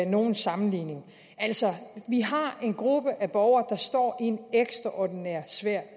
nogen sammenligning altså vi har en gruppe af borgere der står i en ekstraordinært svær